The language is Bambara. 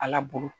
Ala bolo